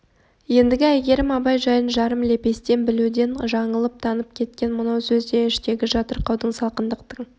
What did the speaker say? ендігі әйгерім абай жайын жарым лепестен білуден жаңылып танып кеткен мынау сөз де іштегі жатырқаудың салқындықтың